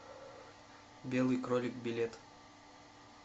белый кролик билет